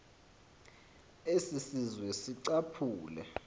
esi sizwe sicaphule